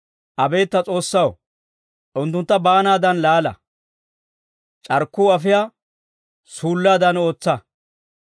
Abeet ta S'oossaw, unttuntta baanaadan laala; c'arkkuu afiyaa suullaadan ootsa.